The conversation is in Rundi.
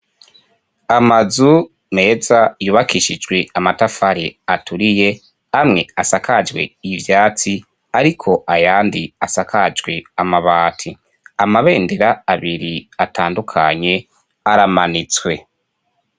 Amazu meza yubakishijwe amatafari aturiye, amwe asakajwe ivyatsi ariko ayandi asakajwe amabati. Amabendera abiri atandukanye aramanitswe.